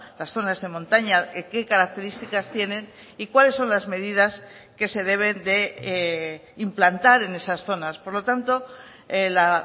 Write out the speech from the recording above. las zonas de montaña qué características tienen y cuáles son las medidas que se deben de implantar en esas zonas por lo tanto la